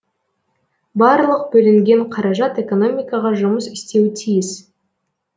барлық бөлінген қаражат экономикаға жұмыс істеуі тиіс